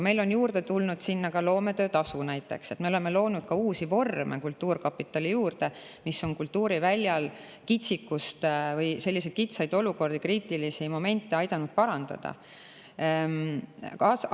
Aga juurde on tulnud ka näiteks loometöötasu, me oleme loonud uusi vorme kultuurkapitali juurde, mis on kultuuriväljal kitsikust või selliseid kitsaid olukordi, kriitilisi momente aidanud.